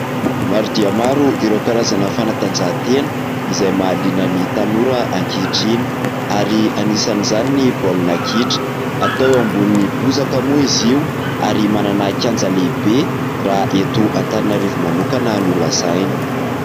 Maro dia maro ireo karazana fanatanjahantena izay mahaliana ny tanora ankehitriny, ary anisan'zany ny baolna kitra ; atao ao ambony bozaka moa izy io, ary manana kianja lehibe raha eto Antananarivo manokana no lazaina.